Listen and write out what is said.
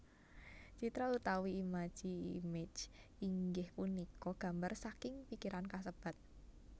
Citra utawi imaji image inggih punika gambar saking pikiran kasebat